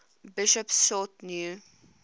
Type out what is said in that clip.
bishops sought new